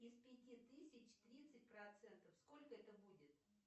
из пяти тысяч тридцать процентов сколько это будет